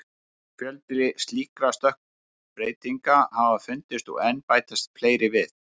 Mikill fjöldi slíkra stökkbreytinga hafa fundist og enn bætast fleiri við.